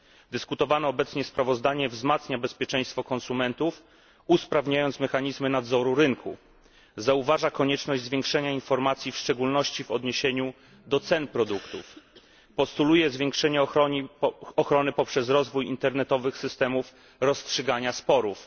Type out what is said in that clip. Dyskutowane obecnie sprawozdanie wzmacnia bezpieczeństwo konsumentów, usprawniając mechanizmy nadzoru rynku, wskazuje na konieczność szerszego informowania, w szczególności w odniesieniu do cen produktów, oraz postuluje zwiększenie ochrony poprzez rozwój internetowych systemów rozstrzygania sporów.